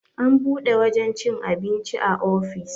an buɗe wajen cin abinci a ofis